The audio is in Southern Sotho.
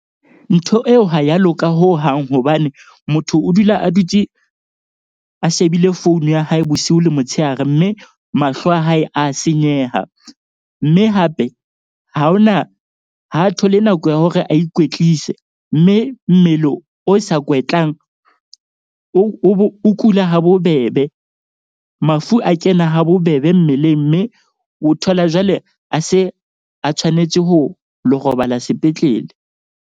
Ntho eo ha ya loka hohang hobane motho o dula a dutse a shebile phone ya hae bosiu le motshehare. Mme mahlo a hae a senyeha. Mme hape ha hona ha a thole nako ya hore a ikwetlise. Mme mmele o sa kwetlang, o kula habobebe. Mafu a kena habobebe mmeleng mme o thola jwale a se a tshwanetse ho lo robala sepetlele.